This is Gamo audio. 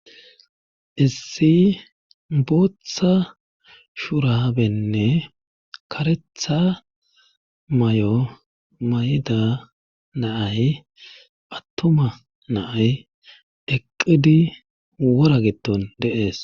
Issi booththa shurabenne karetha may'o mayda naay attuma naay eqqidi wora gitton deees